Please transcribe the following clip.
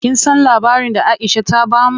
Kin san labarin da Aisha ta bamu?